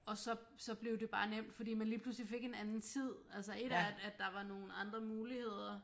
Og så så blev det bare nemt fordi man lige pludselig fik en anden tid altså et er at der var nogle andre muligheder